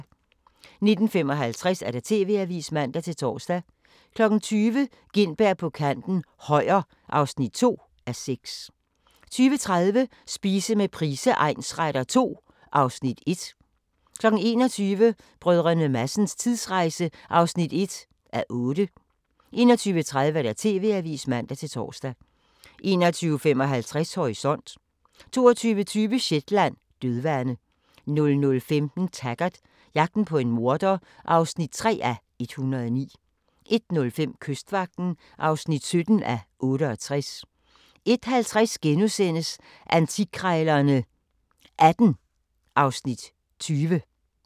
19:55: TV-avisen (man-tor) 20:00: Gintberg på kanten - Højer (2:6) 20:30: Spise med Price egnsretter II (Afs. 1) 21:00: Brdr. Madsens tidsrejse (1:8) 21:30: TV-avisen (man-tor) 21:55: Horisont 22:20: Shetland: Dødvande 00:15: Taggart: Jagten på en morder (3:109) 01:05: Kystvagten (17:68) 01:50: Antikkrejlerne XVIII (Afs. 20)*